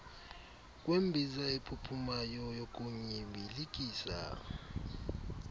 kwembiza ephuphumayo yokunyibilikisa